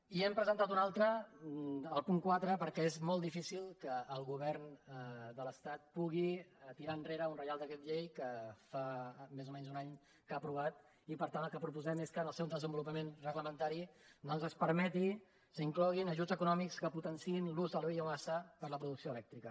i n’hem presentada una altra al punt quatre perquè és molt difícil que el govern de l’estat pugui tirar enrere un re·ial decret llei que fa més o menys un any que ha apro·vat i per tant el que proposem és que en el seu des·envolupament reglamentari doncs es permeti s’hi incloguin ajuts econòmics que potenciïn l’ús de la bio·massa per a la producció elèctrica